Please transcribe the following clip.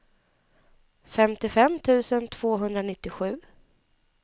femtiofem tusen tvåhundranittiosju